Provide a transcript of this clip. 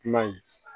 Kuma in